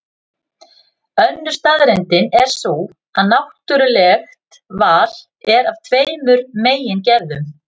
Önnur staðreyndin er sú að náttúrulegt val er af tveimur megin gerðum.